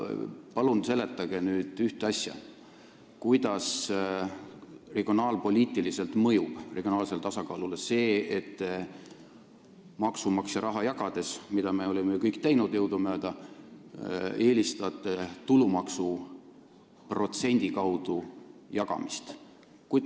Palun seletage ühte asja: kuidas mõjub regionaalsele tasakaalule see, et te eelistate jagada maksumaksja raha, mida me oleme ju kõik jõudumööda teinud, tulumaksu protsendi kaudu.